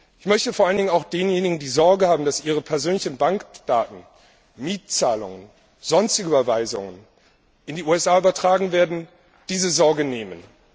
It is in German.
Ich möchte vor allen Dingen auch denjenigen, die Sorge haben, dass ihre persönlichen Bankdaten, Mietzahlungen, sonstige Überweisungen in die USA übertragen werden, diese Sorge nehmen.